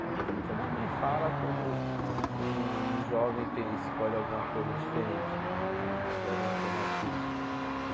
É o que toda mãe fala quando um jovem tem escolhe alguma coisa diferente né, um jovem alternativo.